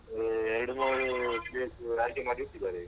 ಏ ಎರಡು ಮೂರು place ಆಯ್ಕೆ ಮಾಡಿ ಇಟ್ಟಿದ್ದಾರೆ.